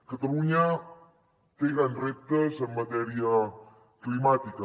catalunya té grans reptes en matèria climàtica